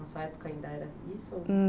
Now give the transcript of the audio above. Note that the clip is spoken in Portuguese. Na sua época ainda era isso?